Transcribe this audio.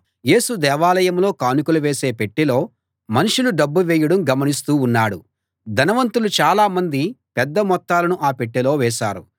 యేసు దేవాలయంలో కానుకలు వేసే పెట్టెలో మనుషులు డబ్బు వేయడం గమనిస్తూ ఉన్నాడు ధనవంతులు చాలా మంది పెద్ద మొత్తాలను ఆ పెట్టెలో వేశారు